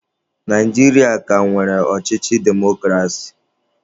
Naijiria a ka nwere ọchịchị demokrasi?